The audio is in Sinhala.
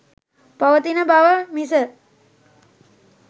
පවතින බව මිස